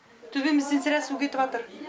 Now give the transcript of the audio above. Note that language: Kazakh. төбемізден сірә су кетіватыр